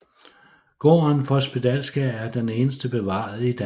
Gården for spedalske er den eneste bevarede i Danmark